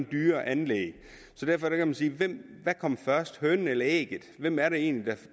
dyrere anlæg så derfor kan man sige hvad kom først hønen eller ægget hvem er det egentlig